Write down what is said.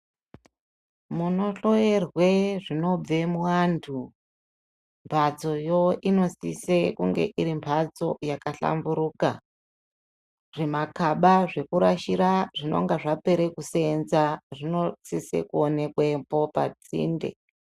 Munohloyerwe zvinobve muantu, mbatsoyo inosise kunge iri mbatso yakahlamburuka. Zvimagaba zvekurasire zvinenge zvapera kuseenza zvinosise kuonekwepo pasinde.